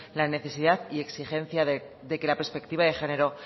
la necesidad y exigencia de que la perspectiva de género